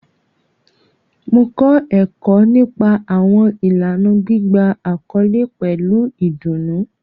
Mo kọ ẹkọ nipa awọn ilana gbigba akọle pẹlu idunnu